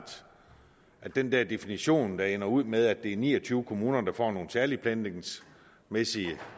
at den der definition der ender ud med at det er ni og tyve kommuner der får nogle særlige planlægningsmæssige